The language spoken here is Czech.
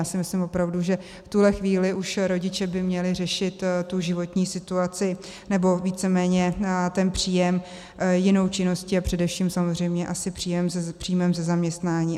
Já si myslím opravdu, že v tuhle chvíli už rodiče by měli řešit tu životní situaci, nebo víceméně ten příjem jinou činností a především samozřejmě asi příjmem ze zaměstnání.